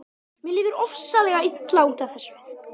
Mér líður ofsalega illa út af þessu.